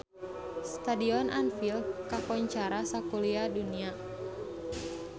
Stadion Anfield kakoncara sakuliah dunya